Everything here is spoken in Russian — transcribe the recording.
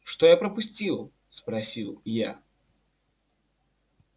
что я пропустил спросил я